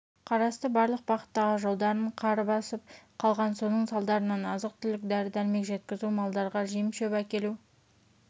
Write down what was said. қарасты барлық бағыттағы жолдарын қар басып қалған соның салдарынан азық-түлік дәрі-дәрмек жеткізу малдарға жем-шөп әкелу